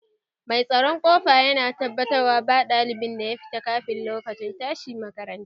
Mai tsaron ƙofa yana tabbatarwa ba ɗalibin da ya fita kafin lokacin tashi makaranta